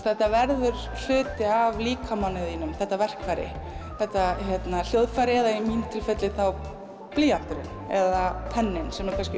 þetta verður hluti af líkamanum þínum þetta verkfæri þetta hljóðfæri eða í mínu tilfelli þá blýanturinn eða penninn sem eru kannski